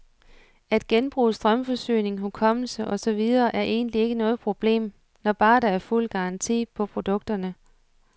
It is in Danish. At genbruge strømforsyning, hukommelse og så videre er egentlig ikke noget problem, når bare der er fuld garanti på produkterne.